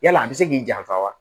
Yala a bɛ se k'i janfa wa